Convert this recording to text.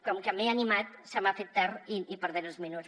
com que m’he animat se m’ha fet tard i perdré els minuts